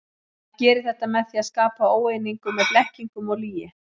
Hann gerir þetta með því að skapa óeiningu með blekkingum og lygi.